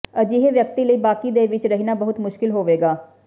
ਅਜਿਹੇ ਵਿਅਕਤੀ ਲਈ ਬਾਕੀ ਦੇ ਵਿੱਚ ਰਹਿਣਾ ਬਹੁਤ ਮੁਸ਼ਕਿਲ ਹੋਵੇਗਾ